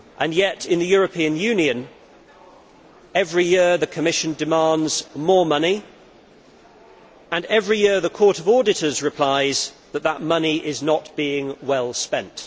Yet, in the European Union, every year the Commission demands more money, and every year the Court of Auditors replies that the money is not being well spent.